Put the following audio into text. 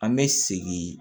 An bɛ segin